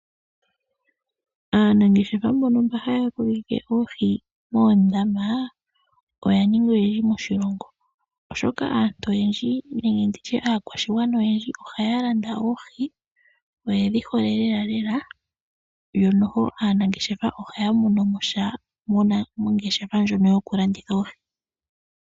Aanangeshefa mbono mba haya kokeke oohi moondama oya ninga oyendji moshilongo, oshoka aantu oyendji nenge nditye aakwashigwana oyendji ohaya landa oohi noyedhi hole lelalela, yo noho aanangeshefa ohaya monomo sha mongeshefa ndjono yoku landitha oohi.